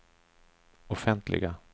offentliga